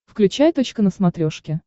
включай точка на смотрешке